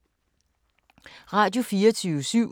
Radio24syv